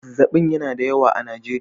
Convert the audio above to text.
Zazzaɓi yana da yawa a Najeriya.